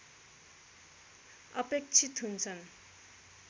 अपेक्षित हुन्छन्